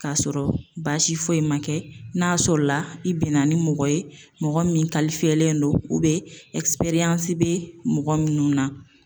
K'a sɔrɔ baasi foyi ma kɛ n'a sɔrɔla i bɛna ni mɔgɔ ye mɔgɔ min kalifiyelen don ubiyɛn ɛsiperansi be mɔgɔ minnu na